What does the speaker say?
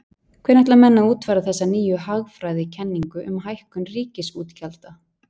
Hvernig ætla menn að útfæra þessa nýju hagfræðikenningu um hækkun ríkisútgjalda?